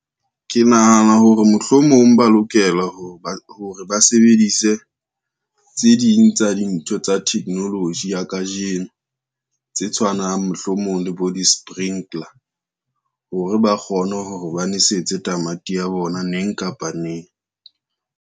Ke nahana hore mohlomong ba lokela hore ba sebedise tse ding tsa dintho tsa technology ya kajeno, tse tshwanang mohlomong le bo di-sprinkler hore ba kgone hore ba nwesetse tamati ya bona neng kapa neng.